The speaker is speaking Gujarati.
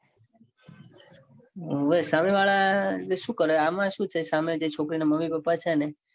હોવે સામે વાળા શું કરે આમાં શું છે સામે જે છોકરી ના મમ્મી પપ્પા છે ને